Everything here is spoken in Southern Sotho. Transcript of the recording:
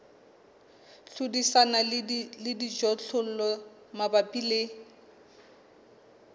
hlodisana le dijothollo mabapi le